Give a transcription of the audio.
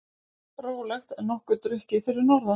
Rólegt en nokkuð drukkið fyrir norðan